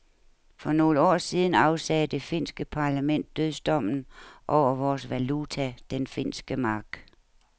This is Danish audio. For nogle år siden afsagde det finske parlament dødsdommen over vores valuta, den finske mark.